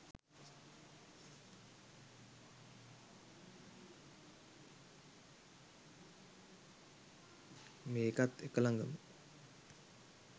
මේකත් එක ලඟම